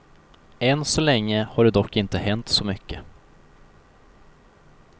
Än så länge har det dock inte hänt så mycket.